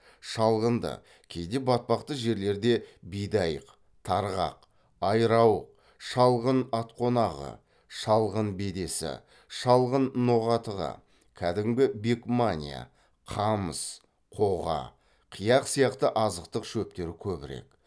шалғынды кейде батпақты жерлерде бидайық тарғақ айрауық шалғын атқонағы шалғын бедесі шалғын ноғатығы кәдімгі бекмания қамыс қоға қияқ сияқты азықтық шөптер көбірек